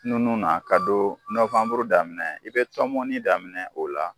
Nunnu na ka don nobanburu daminɛ i bɛ tɔmɔni daminɛ o la.